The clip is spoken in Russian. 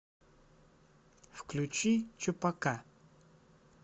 включи чупака